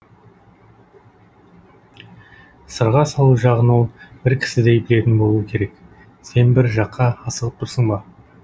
сырға салу жағын ол бір кісідей білетін болуы керек сен бір жаққа асығып тұрсың ба